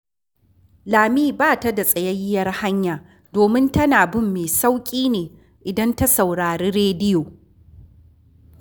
Lami ba ta da tsayayyiyar hanya, domin tana bin mai sauƙi ne idan ta saurari rediyo